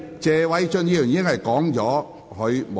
謝偉俊議員，請繼續發言。